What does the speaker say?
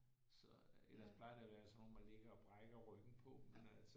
Så øh ellers plejer det at være sådan nogle hvor man ligger og brækker ryggen på men altså